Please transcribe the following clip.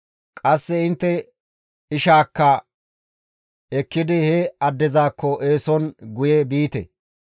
Qasse intte ishaakka ekkidi he addezakko eeson guye biite.